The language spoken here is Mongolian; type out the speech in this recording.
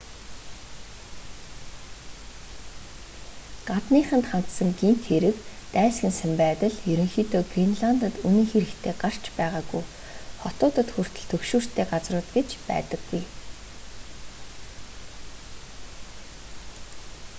гадныханд хандсан гэмт хэрэг дайсагнасан байдал ерөнхийдөө гренландад үнэн хэрэгтээ гарч байгаагүй хотуудад хүртэл түгшүүртэй газрууд гэж байдаггүй